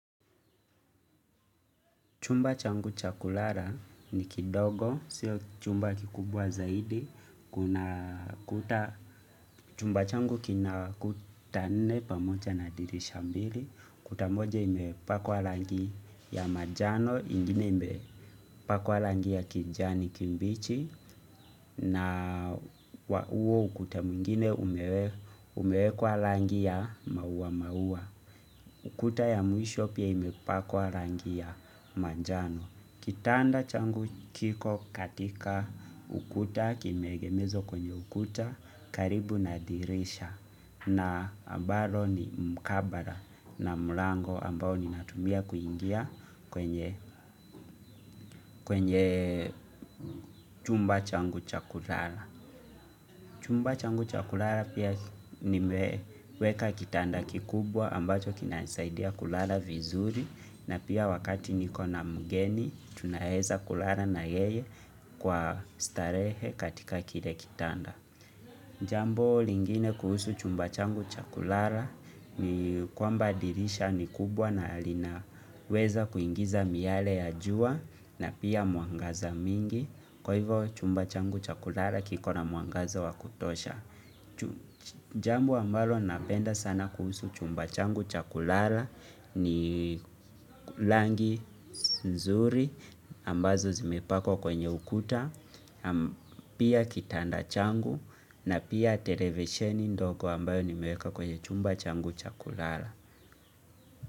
Chumba changu cha kulala ni kidogo, sio chumba kikubwa zaidi, chumba changu kina kuta nne pamoja na dirisha mbili, kuta moja imepakwa rangi ya manjano ingine ime pakwa rangi ya kijani kimbichi na huo ukuta mwingine umewekwa rangi ya maua maua. Ukuta ya mwisho pia imepakwa rangi ya manjano. Kitanda changu kiko katika ukuta kimeegezwa kwenye ukuta karibu na dirisha na ambalo ni mkabara na mlango ambao ninatumia kuingia kwenye chumba changu cha kulala. Chumba changu cha kulala pia nimeweka kitanda kikubwa ambacho kinanisaidia kulala vizuri, na pia wakati nikona mgeni tunaweza kulala na yeye kwa starehe katika kile kitanda. Jambo lingine kuhusu chumba changu cha kulala ni kwamba dirisha ni kubwa na linaweza kuingiza miyale ya jua na pia mwangaza mingi, kwa hivyo chumba changu cha kulala kikona mwangaza wa kutosha. Jambo ambalo napenda sana kuhusu chumba changu cha kulala ni rangi nzuri ambazo zimepakwa kwenye ukuta. Pia kitanda changu na pia televisioni ndogo ambayo nimeweka kwenye chumba changu cha kulala.